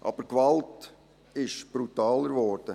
Aber die Gewalt ist brutaler geworden.